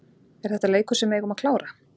Er þetta leikur sem við eigum að klára?